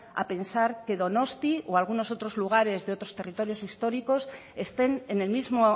a pensar que donostia o algunos otros lugares de otros territorios históricos estén en el mismo